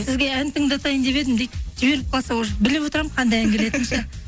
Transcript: сізге ән тыңдатайын деп едім дейді жіберіп қалса уже біліп отырамын қандай ән келетінін ше